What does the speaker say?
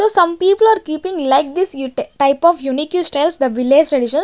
So some people are keeping like this ut type of unique styles the village tradition.